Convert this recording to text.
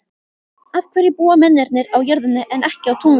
Af hverju búa mennirnir á jörðinni en ekki á tunglinu?